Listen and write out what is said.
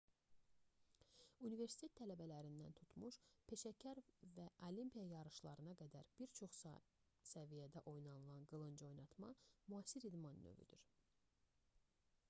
universitet tələbələrindən tutmuş peşəkar və olimpiya yarışlarına qədər bir çox səviyyədə oynanılan qılıncoynatma müasir idman növüdür